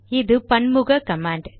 அது பன்முக கமாண்ட்